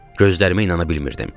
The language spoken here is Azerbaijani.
Gözlərimə inana bilmirdim.